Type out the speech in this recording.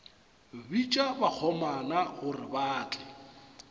bitša bakgomana gore ba tle